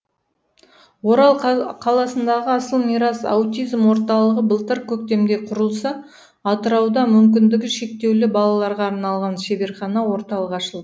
орал қаласындағы асыл мирас аутизм орталығы былтыр көктемде құрылса атырауда мүмкіндігі шектеулі балаларға арналған шеберхана орталық ашылд